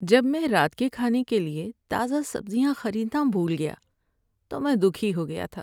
جب میں رات کے کھانے کے لیے تازہ سبزیاں خریدنا بھول گیا تو میں دکھی ہو گیا تھا۔